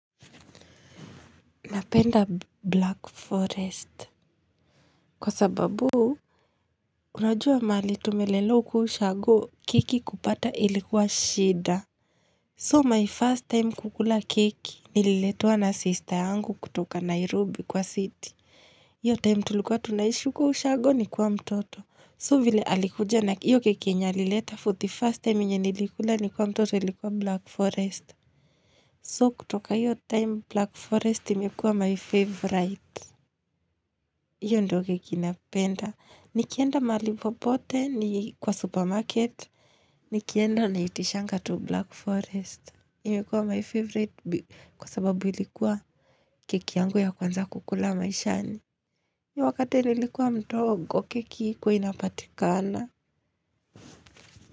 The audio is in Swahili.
Napenda Black Forest. Kwa sababu. Unajua mali tumelelewa huku ushago keki kupata ilikuwa shida. So my first time kukula kiki nililetua na sister yangu kutoka Nairobi kwa city. Hio time tulikuwa tunaishi huko kushago nikiwa mtoto. So vile alikuja na hio keki alileta for the first time yenye alileta nilikula nikiwa mtoto ilikuwa Black Forest. So kutoka hio time Black Forest imekuwa my favorite. Hiyo ndo keki napenda. Nikienda mali popote ni kwa supermarket. Nikienda naitishanga to Black Forest. Imikuwa my favorite kwa sababu ilikuwa keki yangu ya kwanza kukula maishani. Iyo wakati nilikuwa mdogo keki haikua inapatikana.